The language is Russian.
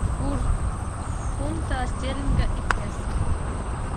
курс фунта стерлинга и песо